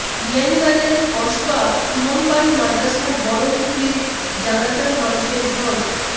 বিয়ানীবাজারের কসবা ইমামবাড়ি মাদ্রাসার বড় হুজুরের জানাযার মানুষের ঢল